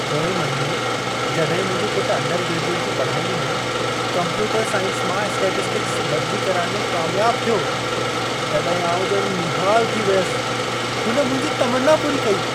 पोएं महिने जॾहिं मुंहिंजो पुटु अंडरग्रेजुएट जी पढ़ाईअ में कंप्यूटर साइंस मां स्टैटिस्टिक्स बदिली कराइण में कामियाबु थियो, तॾहिं आउं ॼणु निहालु थी वियसि। हुन मुंहिंजी तमन्ना पूरी कई।